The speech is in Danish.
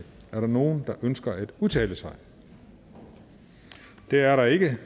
er der nogen der ønsker at udtale sig det er der ikke